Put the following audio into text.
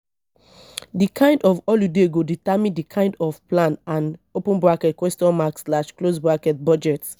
the kind of holiday go determine di kind of plan and budget